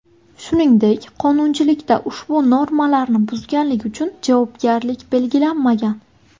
Shuningdek, qonunchilikda ushbu normalarni buzganlik uchun javobgarlik belgilanmagan.